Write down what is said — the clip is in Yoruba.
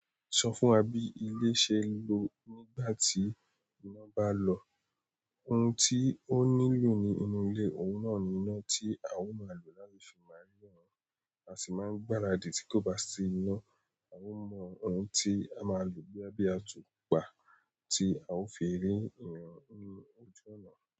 Sọ fún wa bí ìle ṣe lọ nígbà tí ìnà bá lọ. Ohun tí ó nílò ní inú ìle, òun náà ni iná tí a ó máa lò láti fi máa ríran. A sì máa ń gbáradì tí kò bá sí iná. A ó mọ ohun tí a máa lò boya bi atúnpà, tí a ó fi ríran nínú ojú ọ̀nà.